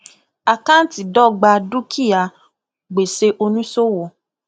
àkántì dọgba dúkìá gbèsè oníṣòwò